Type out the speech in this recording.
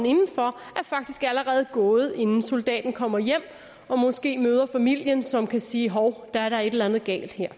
inden for faktisk allerede er gået inden soldaten kommer hjem og måske møder familien som kan sige hov der er da et eller andet galt her